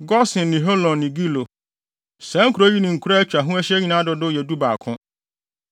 Gosen ne Holon ne Gilo, Saa nkurow yi ne nkuraa a atwa ho ahyia nyinaa dodow yɛ dubaako.